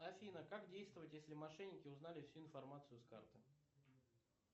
афина как действовать если мошенники узнали всю информацию с карты